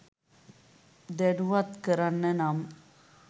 දැනුවත්කරන්න නම්